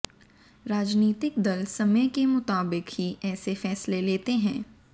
राजनीतिक दल समय के मुताबिक ही ऐसे फैसले लेते हैं